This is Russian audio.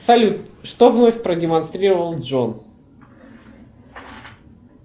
салют что вновь продемонстрировал джон